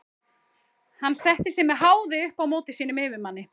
Hann setti sig með háði upp á móti sínum yfirmanni.